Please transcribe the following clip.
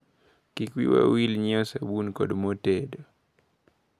Kik wiwa wil nyiewo sabun kod mo tedo.